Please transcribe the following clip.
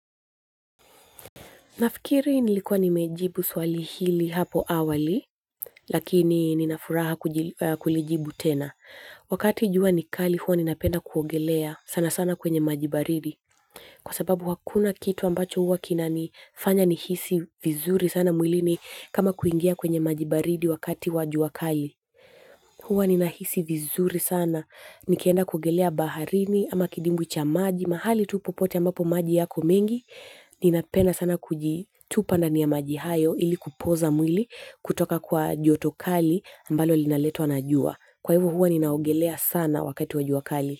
Nafikiri nilikuwa nimejibu swali hili hapo awali, lakini ninafuraha kulijibu tena. Wakati jua ni kali huwa ninapenda kuogelea sana sana kwenye maji baridi. Kwa sababu hakuna kitu ambacho huwa kinanifanya nihisi vizuri sana mwilini kama kuingia kwenye maji baridi wakati wa jua kali. Huwa ninahisi vizuri sana. Nikienda kuogelea baharini ama kidimbwi cha maji, mahali tu popote ambapo maji yako mengi, ninapenda sana kujitupa ndani ya maji hayo ili kupoza mwili kutoka kwa joto kali ambalo linaletwa na jua. Kwa hivo huwa ninaogelea sana wakati wa jua kali.